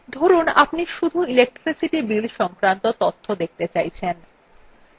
ধরুন আপনি শুধু electricity bill সংক্রান্ত তথ্য দেখতে চাইছেন